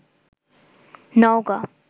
Naogaon